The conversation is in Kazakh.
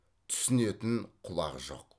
түсінетін құлақ жоқ